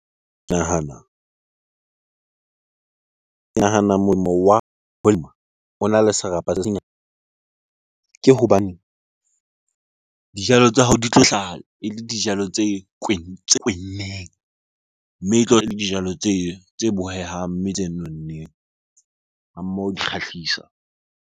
Ke nahana molemo wa ho lema ona le serapa se senyane ke hobane dijalo tsa hao di tlo hlaha ele dijalo tse kwenneng. Mme dijalo tse bohehang, mme tse nonneng ha mmoho di kgahlisa.